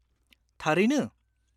-थारैनो?